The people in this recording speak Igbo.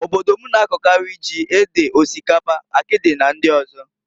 Obodo m na-akọkarị, ji, ede, osikapa, akịdị na ndị ọzọ.